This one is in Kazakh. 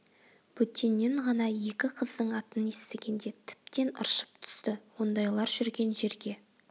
бөтеннен ғана екі қыздың атын естігенде тіптен ыршып түсті ондайлар жүрген жерге